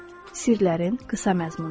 Sirlərin qısa məzmunu.